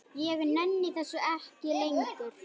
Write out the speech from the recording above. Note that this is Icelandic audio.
Ég nenni þessu ekki lengur.